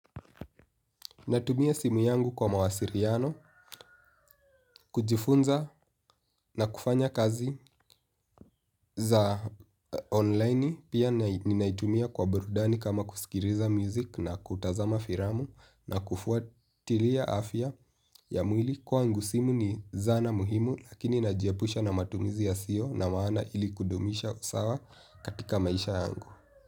Natumia simu yangu kwa mawasiliano kujifunza na kufanya kazi za online pia ninaitumia kwa burudani kama kusikilizaa music na kutazama filamu na kufuatilia afya ya mwili kwangu simu ni zana muhimu lakini najiepusha na matumizi yasio na maana ili kudumisha usawa katika maisha yangu.